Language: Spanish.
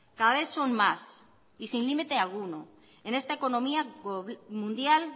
cada vez son más y sin límite alguno en esta economía mundial